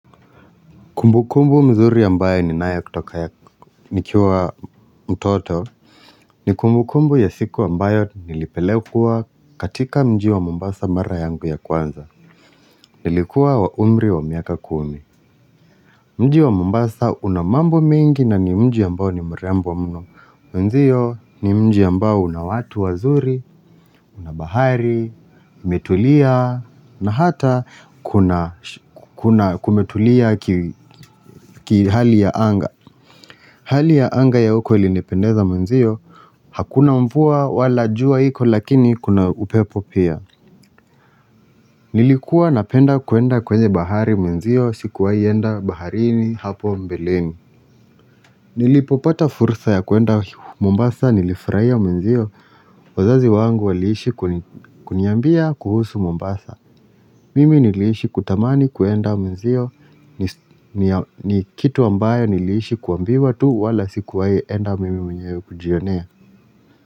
Kumbukumbu mzuri ambayo ninayo kutoka ya nikiwa mtoto, ni kumbukumbu ya siku ambayo nilipelekwa katika mji wa mombasa mara yangu ya kwanza. Nilikuwa wa umri wa miaka kumi. Mji wa mombasa una mambo mengi na ni mji ambayo ni mrembo mno. Wenzio ni mji ambao una watu wazuri, una bahari, umetulia, na hata kuna kumetulia kihali ya anga. Hali ya anga ya huko ilinipendeza mwenzio Hakuna mvuwa wala jua iko lakini kuna upepo pia Nilikuwa napenda kwenda kwenye bahari mwenzio sikuwahi enda baharini hapo mbeleni nilipopata furusa ya kuenda Mombasa nilifurahia mwenzio wazazi wangu waliishi kuniambia kuhusu Mombasa Mimi niliishi kutamani kuenda mwenzio ni kitu ambayo niliishi kuambiwa tu wala sikuwahi enda mimi mwenyewe kujionea.